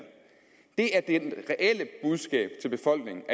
det er det reelle budskab til befolkningen